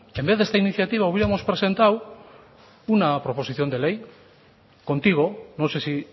en vez de esta iniciativa hubiéramos presentado una proposición de ley contigo no sé si